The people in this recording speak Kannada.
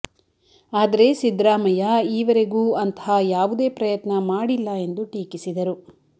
ಆದರೆ ಸಿದ್ದರಾಮಯ್ಯ ಈವರೆಗೂ ಅಂತಹ ಯಾವುದೇ ಪ್ರಯತ್ನ ಮಾಡಿಲ್ಲ ಎಂದು ಟೀಕಿಸಿದರು